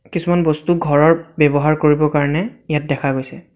কিছুমান বস্তু ঘৰৰ ব্যৱহাৰ কৰিব কাৰণে ইয়াত দেখা গৈছে।